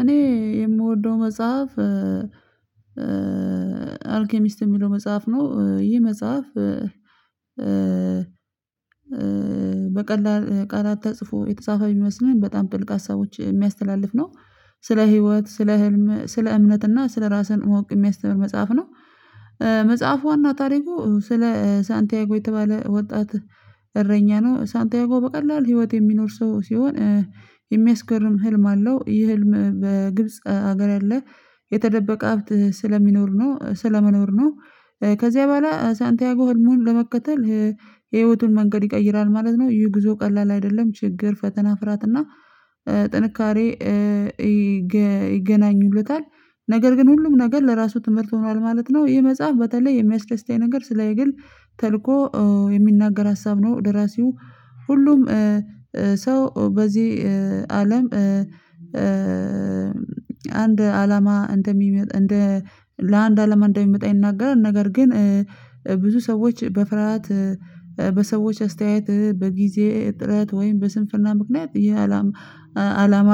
እኔ የምወደው መጽሐፍ አልኬሚስት የሚለው መጽሐፍ ነው። ይህ መጽሐፍ በቀላል ቃላት ተጽፎ የተጻፈ ብመስልም በጣም ጥልቅ ሀሳቦች የሚያስተላልፍ ነው። ስለ ህይወት ስለ ህልም ስለ እምነት እና ስለ ራስህን ማወቅ የሚያስተምር መጽሐፍ ነው። መጽሐፉ ዋና ታሪኩ ስለ ሳንቲያጎ የተባለ ወጣት እረኛ ነው። ሳንቲያጎ በቀላል ህይወት የሚኖር ሰው ስሆን የሚያስገርም ህልም አለው። ይህ ህልም በግብጽ ሀገር ያለ የተደበቀ ሀብት ስለሚኖር ነው ስለሚኖር ነው። ከዚያ በኋላ ሳንቲያጎ ህልሙን ለመከተል የህይወቱን መንገድ ይቀይራል ማለት ነው። ይህ ጉዞ ቀላል አይደለም። ችግር ፈተና ፍርያት እና ጥንካሬ ይገናኙለታል ነገር ግን ሁሉም ነገር ለራሱ ትምህርት ሆኗል ማለት ነው። ይህ መጽሐፍ በተለይ የሚያስደስተኝ ነገር ስለ የግል ተልኮ የሚናገር ሀሳብ ነው። ደራሲው ሁሉም ሰው በዚህ አለም አንድ አላማ እንደሚመጣ እንደ ለአንድ አላማ እንደሚመጣ ይናገራል። ነገር ግን ብዙ ሰዎች በፍርሃት በሰዎች አስተያየት በጊዜ ጥረት ወይም በስንፍና ምክንያት ይህ አላማ አላማ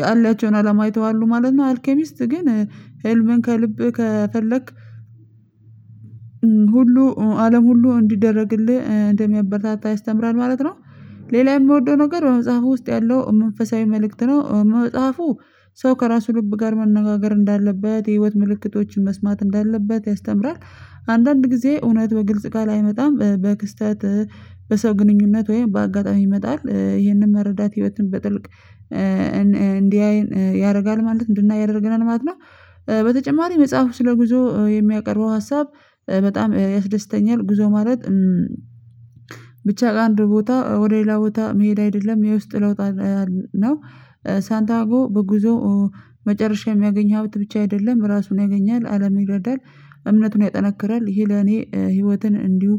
ያላቸውን አላማ ይተዋሉ ማለት ነው። አልኬሚስት ግን ህልምን ከልብህ ከፈለክ ሁሉ አለም ሁሉ እንዲደረግልህ እንደሚያበረታታ ይስተምራል ማለት ነው። ሌላ የምወደው ነገር በመጽሐፉ ውስጥ ያለው መንፈሳዊ መልእክት ነው። መጽሐፉ ሰው ከራሱ ልብ ጋር መነጋገር እንዳለበት የህይወት ምልክቶችን መስማት እንዳለበት ያስተምራል። አንዳንድ ጊዜ እውነት በግልጽ ቃል አይመጣም በክስተት በሰው ግንኙነት ወይም በአጋጣሚ ይመጣል። ይህንን መረዳት ህይወትን በጥልቅ እንድያየን ያደርጋል ማለት እንድናይ ያደርገናል ማለት ነው። በተጨማሪ መጽሐፉ ስለ ጉዞ የሚያቀርበው ሀሳብ በጣም ያስደስተኛል። ጉዞ ማለት ብቻ ከአንድ ቦታ ወደ ሌላ ቦታ መሄድ አይደለም። የውስጥ ለውጥ ነው። ሳንቲያጎ በጉዞ መጨረሻ የሚያገኝ ሀብት ብቻ አይደለም ራሱን ያገኛል አለም ይረዳል እምነቱን ያጠነክራል። ይሄ ለኔ ህይወትን እንዲሁ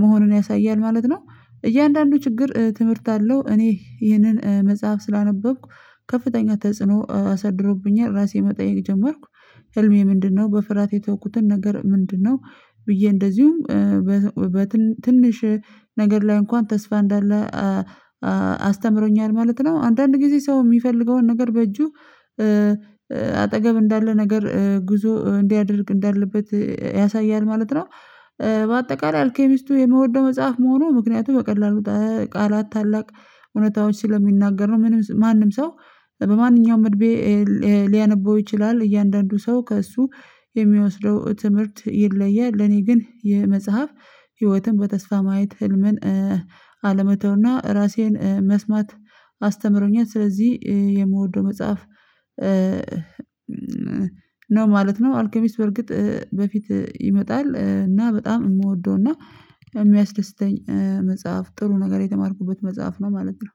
መሆንን ያሳያል ማለት ነው። እያንዳንዱ ችግር ትምህርት አለው። እኔ ይህንን መጽሐፍ ስላነበብኩ ከፍተኛ ተጽዕኖ አሳድሮብኛል ራሴን መጠየቅ ጀመርኩ። ህልሜ ምንድነው? በፍርሃት የተውኩትን ነገር ምንድነው? ብዬ እንደዚሁም ነገር ላይ እንኳን ተስፋ እንዳለ አስተምሮኛል ማለት ነው። አንዳንድ ጊዜ ሰው የሚፈልገውን ነገር በእጁ አጠገብ እንዳለ ነገር ጉዞ እንዲያደርግ እንዳለበት ያሳያል። ማለት ነው። በአጠቃላይ አልኬሚስቱ የምወደው መጽሐፍ መሆኑ ምክንያቱ በቀላሉ ቃላት ታላቅ እውነታዎች ስለሚናገሩ ምንም ማንም ሰው በማንኛውም እድሜ ሊያነበው ይችላል። እያንዳንዱ ሰው ከእሱ የሚወስደው ትምህርት ይለያል። ለኔ ግን ይህ መጽሐፍ ህይወትን በተስፋ ማየት ህልምን አለመተውና ራሴን መስማት አስተምሮኛል። ስለዚህ የምወደው መጽሐፍ ነው ማለት ነው። አልከሚስት በርግጥ በፊት ይመጣል እና በጣም የምወደው እና የሚያስደስተኝ መጽሐፍ ጥሩ ነገር የተማርኩበት መጽሐፍ ነው ማለት ነው።